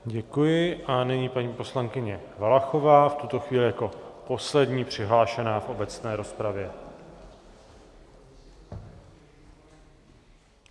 Děkuji a nyní paní poslankyně Valachová, v tuto chvíli jako poslední přihlášená v obecné rozpravě.